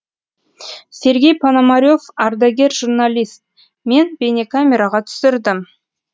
сергей пономарев ардагер журналист мен бейнекамераға түсірдім